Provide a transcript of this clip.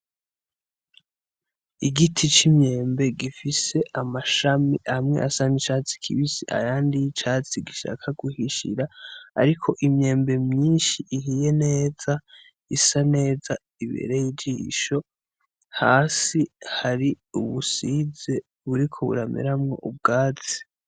igiti c'immyembe gifise amashami amwe asa n'icatsi kibisi ayandi y'icatsi gishaka guhishira ariko imyembe myishi ihiye neza isa neza ibereye ijisho hasi hari ubusize buriko burameramwo ubwatsi